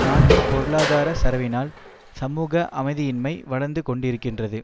நாட்டின் பொருளாதார சரவினால் சமூக அமைதியின்மை வளர்ந்துகொண்டிருக்கின்றது